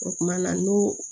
O kumana n'o